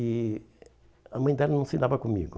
E a mãe dela não se dava comigo.